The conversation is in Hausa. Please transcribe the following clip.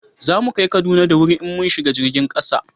za mu kai Kaduna da wuri in mun shiga jirgin kasa